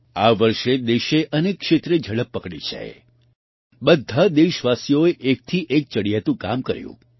આ વર્ષે દેશે અનેક ક્ષેત્રે ઝડપ પકડી છે બધા દેશવાસીઓએ એકથી એક ચડિયાતું કામ કર્યું